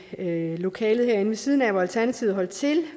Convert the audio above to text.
lokalet herinde ved siden af hvor alternativet holdt til